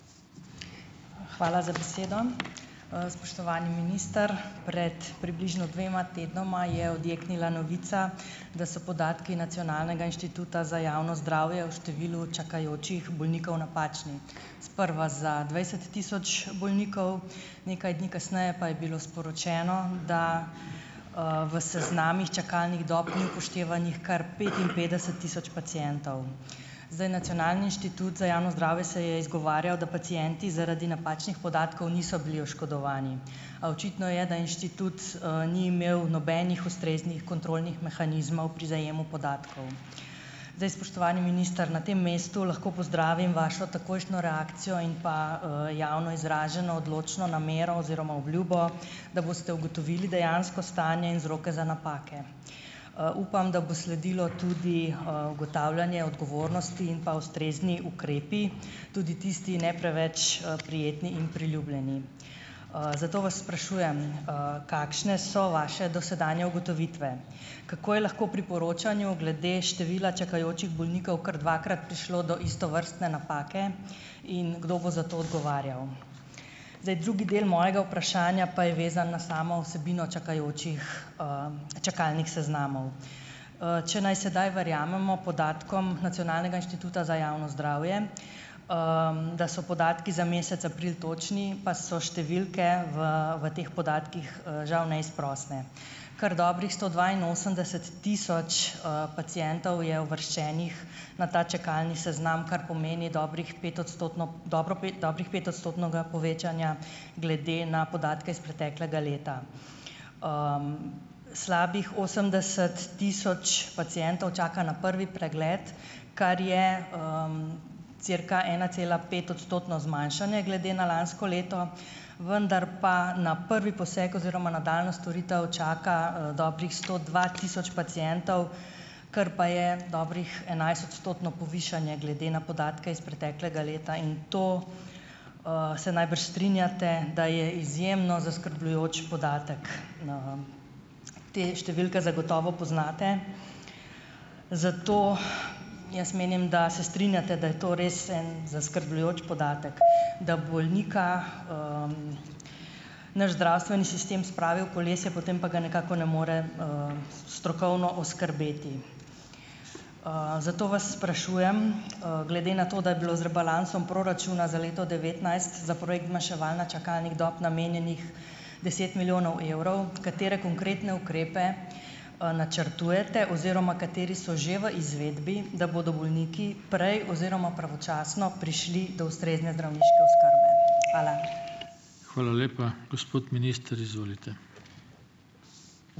Hvala za besedo. Spoštovani minister! Pred približno dvema tednoma je odjeknila novica, da so podatki Nacionalnega inštituta za javno zdravje o številu čakajočih bolnikov napačni. Sprva za dvajset tisoč bolnikov, nekaj dni kasneje pa je bilo sporočeno, da, v seznamih čakalnih dob ni upoštevanih kar petinpetdeset tisoč pacientov. Zdaj, Nacionalni inštitut za javno zdravje se je izgovarjal, da pacienti zaradi napačnih podatkov niso bili oškodovani, a očitno je, da inštitut, ni imel nobenih ustreznih kontrolnih mehanizmov pri zajemu podatkov. Zdaj, spoštovani minister, na tem mestu lahko pozdravim vašo takojšno reakcijo in pa, javno izraženo odločno namero oziroma obljubo, da boste ugotovili dejansko stanje in vzroke za napake. Upam, da bo sledilo tudi, ugotavljanje odgovornosti in pa ustrezni ukrepi, tudi tisti ne preveč, prijetni in priljubljeni. Zato vas sprašujem, kakšne so vaše dosedanje ugotovitve. Kako je lahko pri poročanju glede števila čakajočih bolnikov kar dvakrat prišlo do istovrstne napake in kdo bo za to odgovarjal? Zdaj, drugi del mojega vprašanja pa je vezan na samo vsebino čakajočih, čakalnih seznamov. Če naj sedaj verjamemo podatkom nacionalnega inštituta za javno zdravje, da so podatki za mesec april točni, pa so številke v v teh podatkih, žal neizprosne. Kar dobrih sto dvainosemdeset tisoč, pacientov je uvrščenih na ta čakalni seznam, kar pomeni dobrih petodstotno dobro, pet dobrih, petodstotnega povečanja glede na podatke iz preteklega leta. Slabih osemdeset tisoč pacientov čaka na prvi pregled, kar je, cirka enacelapetodstotno zmanjšanje glede na lansko leto, vendar pa na prvi poseg oziroma nadaljnjo storitev čaka, dobrih sto dva tisoč pacientov, kar pa je dobro enajstodstotno povišanje glede na podatke iz preteklega leta in to, se najbrž strinjate, da je izjemno zaskrbljujoč podatek. Te številke zagotovo poznate, zato jaz menim, da se strinjate, da je to res en zaskrbljujoč podatek, da bolnika, naš zdravstveni sistem spravi v kolesje, potem pa ga nekako ne more, strokovno oskrbeti. Zato vas sprašujem: Glede na to, da je bilo z rebalansom proračuna za leto devetnajst za projekt zmanjševanja čakalnih dob namenjenih deset milijonov evrov, katere konkretne ukrepe, načrtujete oziroma kateri so že v izvedbi, da bodo bolniki prej oziroma pravočasno prišli do ustrezne zdravniške oskrbe. Hvala.